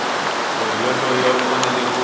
munhu yoloye u fanele ku